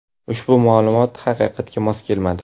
Ushbu ma’lumot haqiqatga mos kelmadi.